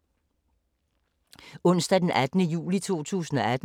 Onsdag d. 18. juli 2018